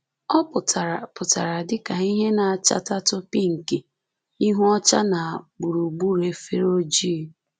Ọ pụtara pụtara dị ka ìhè na-achatatụ pinki - ihu ọcha na gburugburu efere ojii